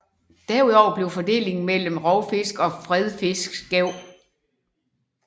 Derudover blev fordelingen mellem rovfisk og fredfisk skæv